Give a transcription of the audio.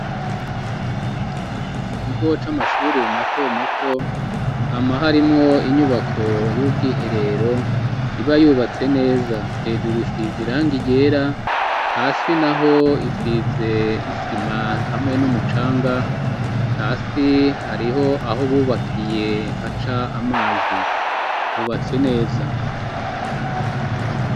Mu kigo c'amashuri mato mato hama harimwo inyubako y'ubwiherero iba yubatse neza, hejuru isize irangi ryera hasi naho isize isima hamwe n'umucanga, hasi hariho aho bubakiye haca amazi hubatse neza.